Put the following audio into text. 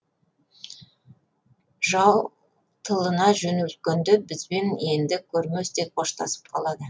жау тылына жөнелткенде бізбен енді көрместей қоштасып қалады